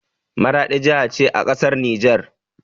Maraɗi jaha ce a ƙasar nijar.